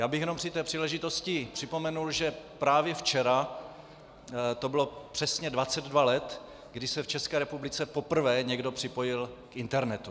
Já bych jenom při té příležitosti připomenul, že právě včera to bylo přesně 22 let, kdy se v České republice poprvé někdo připojil k internetu.